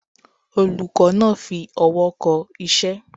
Olùkó náa fi owó ko isé